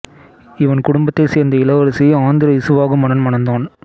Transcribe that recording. இவன் குடும்பத்தைச் சேர்ந்த இளவரசியை ஆந்திர இசுவாகு மன்னன் மணந்தான்